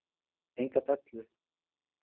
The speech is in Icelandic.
Enga dellu!